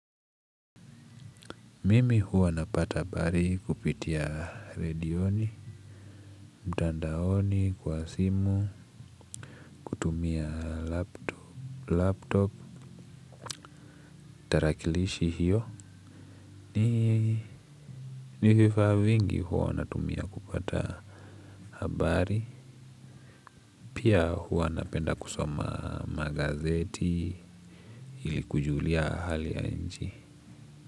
Mimi huwa napata habari kupitia redioni, mtandaoni, kwa simu, kutumia laptop, tarakilishi hiyo, ni vifaa vingi huwanatumia kupata habari, pia huwa napenda kusoma magazeti ilikujulia hali ya nchi.